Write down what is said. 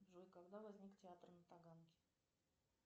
джой когда возник театр на таганке